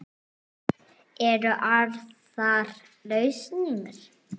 Eru aðrar lausnir?